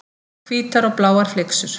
Hvítar og bláar flyksur.